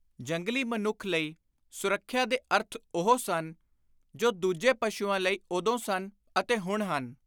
ਜੰਗਲੀ ਮਨੁੱਖ ਲਈ ਸੁਰੱਖਿਆ ਦੇ ਅਰਥ ਉਹੋ ਸਨ ਜੋ ਦੂਜੇ ਪਸ਼ੁਆਂ ਲਈ ਉਦੋਂ ਸਨ ਅਤੇ ਹੁਣ ਹਨ।